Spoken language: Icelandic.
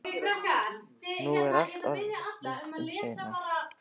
Nú var allt orðið um seinan.